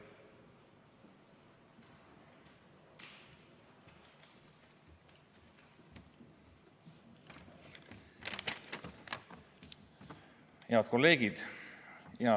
Head kolleegid!